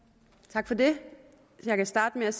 tak for det jeg kan starte med